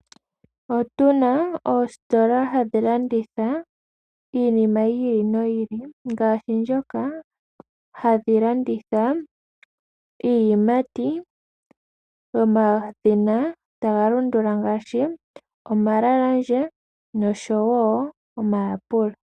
Otuna oositola hadhi landitha iinima yi ili noyi ili, ngaashi ndhoka hadhi landitha iiyimati yomadhina taga landula ngaashi omalemune nosho wo omayapulo.